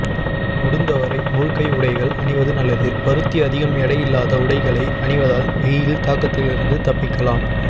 முடுந்த வரை முழுக்கை உடைகள் அணிவது நல்லது பருத்தி அதிகம் எடையில்லாத உடைகளை அணிவதால் வெயில் தாக்கத்திலிருந்து தப்பிக்கலாம்